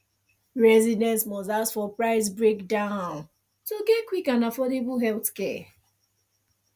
residents must ask for price breakdown to get quick and affordable healthcare